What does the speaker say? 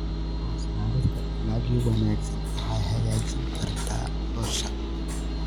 Soo saarista dalagyo wanaagsan waxay hagaajin kartaa nolosha.